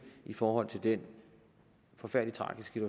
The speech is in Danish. i forhold til den forfærdelige tragiske